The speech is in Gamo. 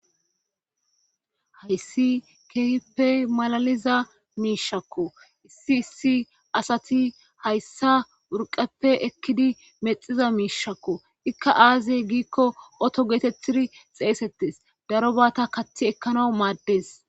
hayssi keyippe malaliza miishakko issi issi asati hayssa urqeppe ekkidi mexiza miishakko ikka aaziee giikko oto geetetiri xeesettes daro baata kathi ekkanau maaddes